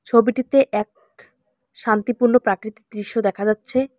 ছবিটিতে এক শান্তিপূর্ণ প্রাকৃতিক দৃশ্য দেখা যাচ্ছে।